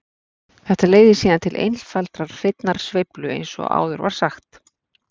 Þetta leiðir síðan til einfaldrar hreinnar sveiflu eins og áður var sagt.